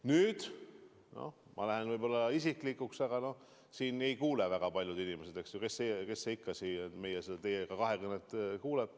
Nüüd ma lähen võib-olla isiklikuks, aga seda ei kuule väga paljud inimesed – kes see ikka seda meie kahekõnet kuulab.